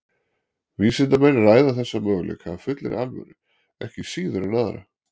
vísindamenn ræða þessa möguleika af fullri alvöru ekki síður en aðra